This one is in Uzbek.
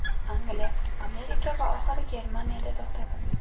Angliya, Amerika va oxiri Germaniyada to‘xtadim.